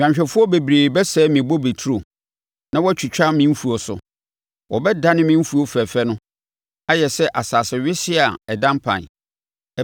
Nnwanhwɛfoɔ bebree bɛsɛe me bobeturo, na wɔatiatia me mfuo so; wɔbɛdane me mfuo fɛfɛ no ayɛ no asase wesee a ada mpan.